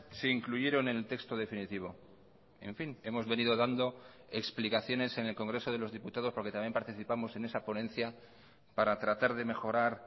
se incluyeron en el texto definitivo en fin hemos venido dando explicaciones en el congreso de los diputados porque también participamos en esa ponencia para tratar de mejorar